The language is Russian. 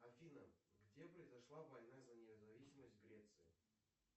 афина где произошла война за независимость греции